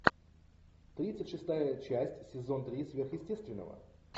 тридцать шестая часть сезон три сверхъестественного